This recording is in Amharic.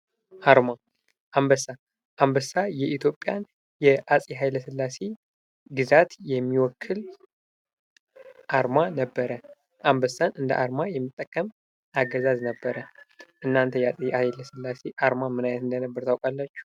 አርማ ። አንበሳ ፡ አንበሳ የኢትዮጵያን የአፄ ሃይለ ስላሴ ግዛት የሚወክል አርማ ነበረ ። አንበሳን እንደ አርማ የሚጠቀም አገዛዝ ነበረ ። እናንተ የአፄ ሃይለ ስላሴ አርማ ምን አይነት እንደነበር ታውቃላችሁ?